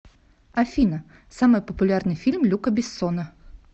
афина самый популярный фильм люка бессона